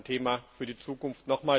Auch das ist ein Thema für die Zukunft.